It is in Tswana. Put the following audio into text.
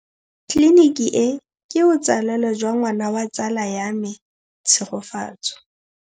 Tleliniki e, ke botsalêlô jwa ngwana wa tsala ya me Tshegofatso.